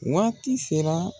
Waati sera